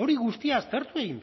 hori guztia aztertu egin